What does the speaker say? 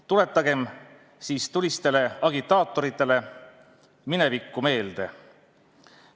Tuletagem tulistele agitaatoritele minevikku meelde.